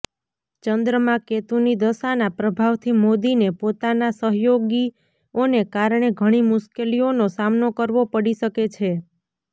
ચંદ્રમાં કેતુની દશાના પ્રભાવથી મોદીને પોતાના સહયોગીઓને કારણે ઘણી મુશ્કેલીઓનો સામનો કરવો પડી શકે છે